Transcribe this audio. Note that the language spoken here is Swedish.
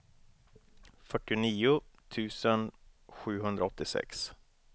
fyrtionio tusen sjuhundraåttiosex